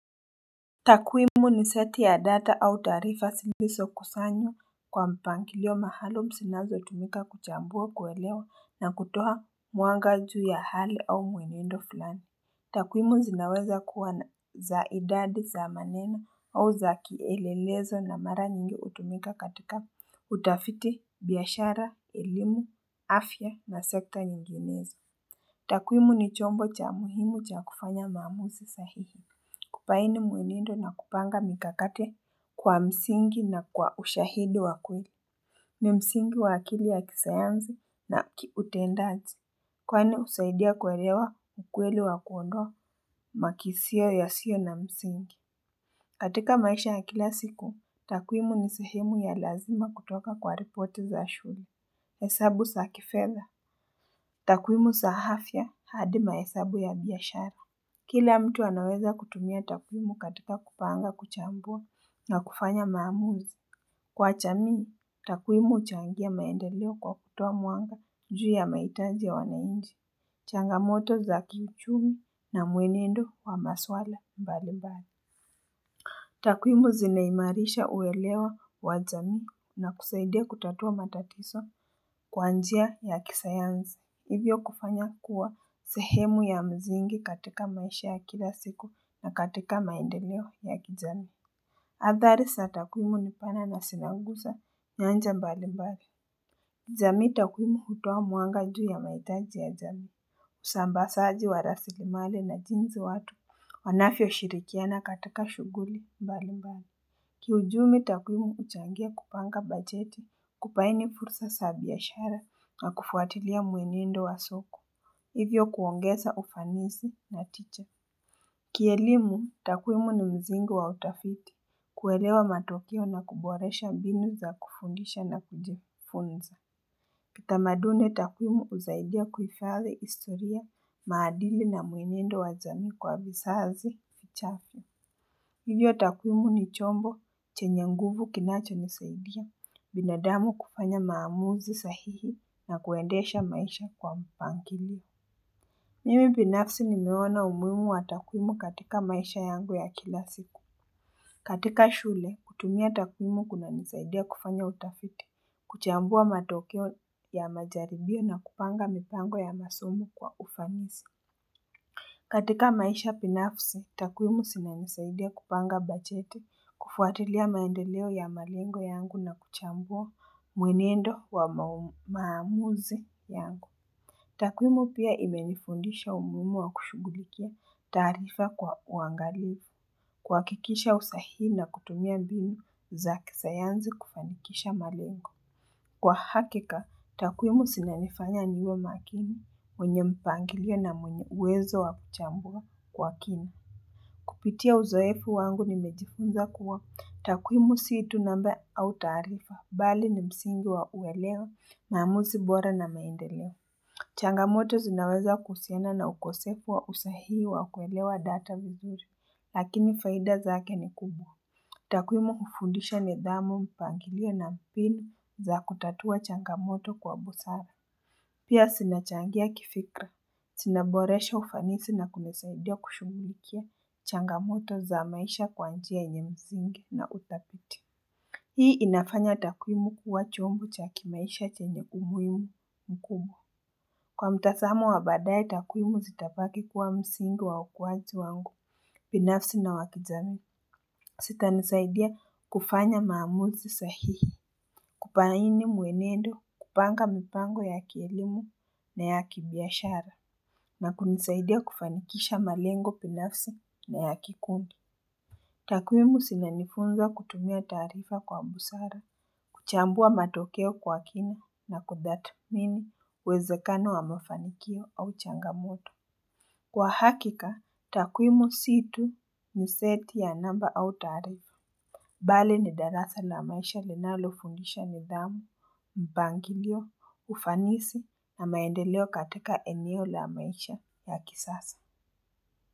Takuimu ni seti ya data au tarifa ziliso kusanyo kwa mpangilio maalum zinazo tumika kuchambua kuelewa na kutoha mwanga juu ya hali au mwenendo fulani. Takuimu zinaweza kuwa za idadi za maneno au za kielelezo na mara nyingi utumika katika utafiti, biashara, elimu, afya na sekta nyinginezo. Takuimu ni chombo cha muhimu cha kufanya maamuzi sahihi. Kupaini mwenendo na kupanga mikakati kwa msingi na kwa ushahidi wakweli. Ni msingi wakili ya kisayansi na kiutendazi. Kwani husaidia kuelewa ukweli wa kuondoa makisio ya sio na msingi. Katika maisha ya kila siku, takuimu ni sahemu ya lazima kutoka kwa report za shule. Hesabu zakifeza. Takuimu za afya hadi mahesabu ya biashara. Kila mtu anaweza kutumia takuimu katika kupanga kuchambua na kufanya maamuzi. Kwa jamii, takuimu huchangia maendeleo kwa kutuwa mwanga juu ya mahitaji ya wanainchi. Changamoto za kiuchumi na mwenendo wa maswala mbali mbali. Takuimu zinaimarisha uelewa wajami na kusaidia kutatua matatizo kwa njia ya kisayansi. Hivyo kufanya kuwa sehemu ya msingi katika maisha ya kila siku na katika maendeleo ya kijami Athari za takuimu nipana na nazinanguza nyanja mbali mbali jami takuimu hutuwa mwanga juu ya mahitaji ya jami Usambazaji wa rasilimali na jinsi watu wanavyo shirikiana katika shuguli mbali mbali Kiuchumi takuimu huchangia kupanga bajeti kupaini fursa za biashara na kufuatilia mwenendo wa soko Hivyo kuongeza ufanisi na tija. Kielimu, takuimu ni msingi wa utafiti. Kuelewa matukio na kuboresha mbinu za kufundisha na kujifunza. Kitamaduni, takuimu husaidia kuhifathi historia, maadili na mwenendo wa jami kwa vizazi, chache. Hivyo, takuimu ni chombo chenye nguvu kinacho msaidia binadamu kufanya maamuzi sahihi na kuendesha maisha kwa mpangilio. Mimi binafsi nimeona umuimu wa takuimu katika maisha yangu ya kila siku. Katika shule, kutumia takuimu kuna nisaidia kufanya utafiti, kuchambua matokeo ya majaribio na kupanga mitango ya masomo kwa ufanisi. Katika maisha binafsi, takuimu zina nisaidia kupanga bajeti, kufuatilia maendeleo ya malengo yangu na kuchambua mwenendo wa maamuzi yangu. Takuimu pia imenifundisha umuhimu wa kushugulikia tarifa kwa uangali kwa kikisha usahii na kutumia binu za kisayansi kufanikisha malengu. Kwa hakika, takuimu zinanifanya niwe makini mwenye mpangilio na mwenye uwezo wa kuchambua kwa kina. Kupitia uzoefu wangu nimejifunza kuwa takuimu situ namba au tarifa bali ni msingi wa uwelewa na mamuzi bora na maendeleo. Changamoto zinaweza kuhusiana na ukosefu wa usahii wa kuelewa data vizuri, lakini faida zake ni kubwa. Takuimu hufundisha ni thamu mpangilio na mpili za kutatua changamoto kwa busara. Pia zinachangia kifikra, zinaboresha ufanisi na kunisaidia kushugulikia changamoto za maisha kwanjia nyingi na utafiti. Hii inafanya takuimu kuwa chumbo chaki maisha chenye humuhimu mkubwa. Kwa mtazamo wa badae takuimu zitabaki kuwa msingi wa ukuwaji wangu binafsi na wakizami zita nisaidia kufanya maamuzi sahihi kubaini mwenendo kupanga mpango ya kielimu na ya kibiashara na kunisaidia kufanikisha malengo binafsi na ya kikundi Takuimu zinanifunza kutumia tarifa kwa busara kuchambua matokeo kwa kina na kutathmini uwezekano wamefanikio au changamoto. Kwa hakika, takuimu situ ni seti ya namba au tarifu. Mbali ni darasa la maisha linalofundisha ni thamu, mpangilio, ufanisi na maendeleo katika eneo la maisha ya kisasa.